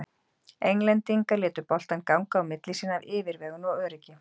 Englendingar létu boltann ganga á milli sín af yfirvegun og öryggi.